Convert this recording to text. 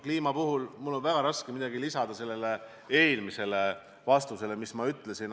Kliima puhul on mul väga raske midagi lisada eelmisele vastusele, mis ma ütlesin.